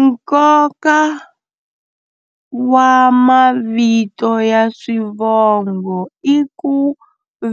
Nkoka wa mavito ya swivongo i ku